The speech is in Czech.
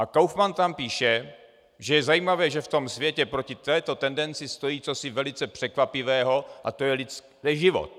A Kaufman tam píše, že je zajímavé, že v tom světě proti této tendenci stojí cosi velice překvapivého, a to je život.